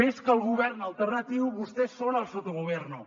més que el govern alternatiu vostès són el sottogoverno